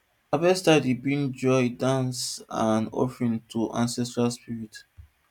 harvest time dey bring joy dance and offering to ancestral spirit